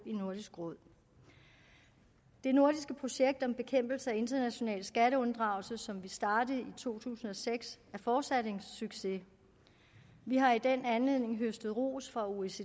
i nordisk råd det nordiske projekt om bekæmpelse af international skatteunddragelse som vi startede i to tusind og seks er fortsat en succes vi har i den anledning høstet ros fra oecd